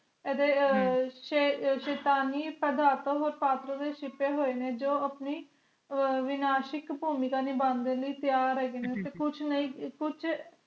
ਐਦ੍ਹੇ ਹਮ ਸ਼ੈਤਾਨੀ ਪ੍ਰਦਾਰ ਤੂੰ ਪਾਪਰੁ ਛੁਪੇ ਹੋਏ ਨੇ ਜੋ ਆਪਣੀ ਵਿਨਾਸ਼ਕ ਪੁਮਿਕ ਨਿਬਾਂ ਦੇ ਲਾਇ ਤਿਆਰ ਹੈਗੇ ਨੇ ਤੇ ਕੁਛ ਨਾਈ ਤੇ ਕੁਛ